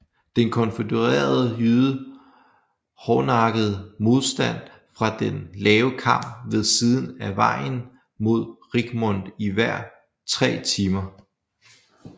De konfødererede ydede hårdnakket modstand fra den lave kam ved siden af vejen mod Richmond i ver tre timer